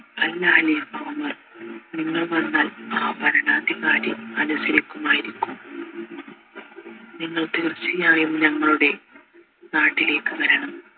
അല്ല ഖലീഫ ഉമർ നിങ്ങൾ വന്നാൽ ആ ഭരണാധികാരി അനുസരിക്കുമായിരിക്കും നിങ്ങൾ തീർച്ചയായും ഞങ്ങളുടെ നാട്ടിലേക്ക് വരണം